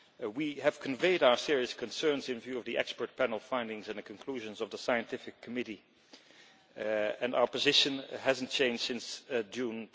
We have conveyed our serious concerns in view of the expert panel findings and the conclusions of the Scientific Committee, and our position has not changed since June